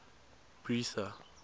bertha